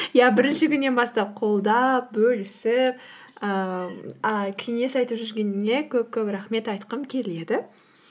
иә бірінші күннен бастап қолдап бөлісіп ііі а кеңес айтып жүргеніңе көп көп рахмет айтқым келеді